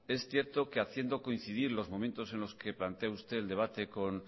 es cierto que haciendo coincidir los momentos en los que plantea usted el debate con